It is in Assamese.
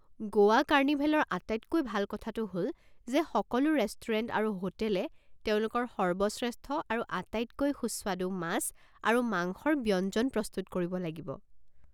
গোৱা কাৰ্নিভেলৰ আটাইতকৈ ভাল কথাটো হ'ল যে সকলো ৰেষ্টুৰেণ্ট আৰু হোটেলে তেওঁলোকৰ সৰ্বশ্ৰেষ্ঠ আৰু আটাইতকৈ সুস্বাদু মাছ আৰু মাংসৰ ব্যঞ্জন প্ৰস্তুত কৰিব লাগিব।